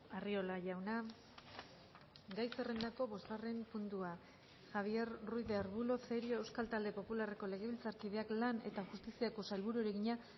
arriola jauna gai zerrendako bosgarren puntua galdera javier ruiz de arbulo cerio euskal talde popularreko legebiltzarkideak lan eta justiziako sailburuari egina